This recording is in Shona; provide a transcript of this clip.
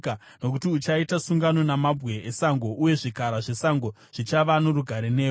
Nokuti uchaita sungano namabwe esango, uye zvikara zvesango zvichava norugare newe.